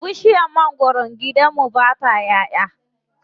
Bishiyar mangwaron gidan mu ba ta ƴaʼƴa.